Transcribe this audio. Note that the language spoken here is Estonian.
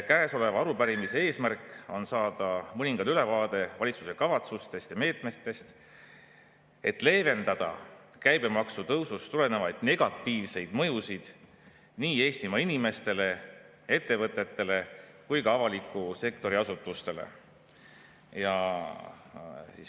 Käesoleva arupärimise eesmärk on saada mõningane ülevaade valitsuse kavatsustest ja meetmetest, et leevendada käibemaksu tõusust tulenevaid negatiivseid mõjusid nii Eestimaa inimestele, ettevõtetele kui ka avaliku sektori asutustele.